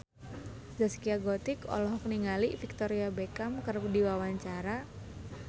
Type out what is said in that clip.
Zaskia Gotik olohok ningali Victoria Beckham keur diwawancara